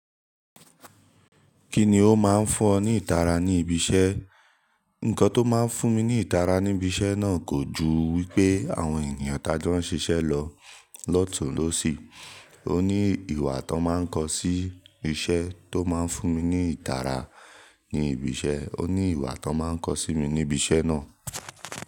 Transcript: Kíni ó máa ń fún ọ ní ìtara ní ibi iṣẹ́? Ǹkan tó máa ń fún mi ní ìtara ní ibi iṣẹ́ náà kò ju wípé àwọn ènìyàn tá n jo ń ṣiṣẹ́ lọ, lọ́tùn lọ́sì. Ó ní ìwà tó máa ń kọ sí iṣẹ́ tó máa ń fún mi ní ìtara ní ibi iṣẹ́, ó ní ìwà tó máa ń kọ sí mi ní ibi iṣẹ́ náà.